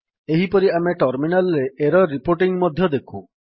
ଏହିପରି ଆମେ ଟର୍ମିନାଲ୍ ରେ ଏରର୍ ରିପୋର୍ଟିଙ୍ଗ୍ ମଧ୍ୟ ଦେଖୁ